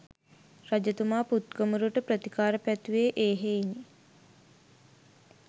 රජතුමා පුත් කුමරුට ප්‍රතිකාර පැතුවේ ඒ හෙයිනි.